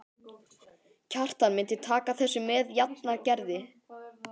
Kjartan myndi taka þessu með jafnaðargeði.